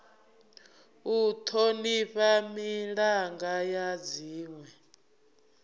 u thonifha milanga ya dzinwe